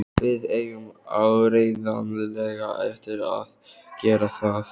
Við eigum áreiðanlega eftir að gera það.